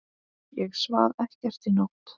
Ég svaf ekkert í nótt.